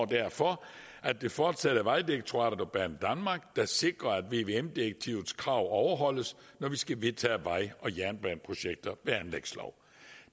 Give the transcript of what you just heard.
derfor at det fortsat er vejdirektoratet og banedanmark der sikrer at vvm direktivets krav overholdes når vi skal vedtage vej og jernbaneprojekter ved anlægslov